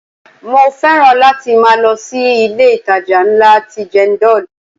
Mo fẹ́ràn láti máa lọ sí ilé itàjà ńlá ti Jendol.